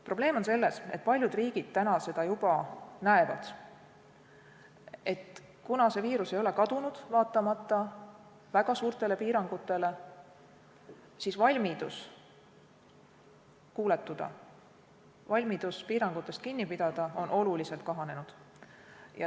Probleem on selles – paljud riigid seda juba näevad –, et kuna see viirus ei ole kadunud, vaatamata väga suurtele piirangutele, siis valmidus kuuletuda, valmidus piirangutest kinni pidada on oluliselt kahanenud.